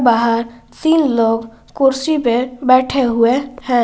बाहर तीन लोग कुर्सी पे बैठे हुए हैं।